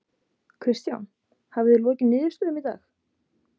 Kristján: Hafið þið lokið niðurstöðum í dag?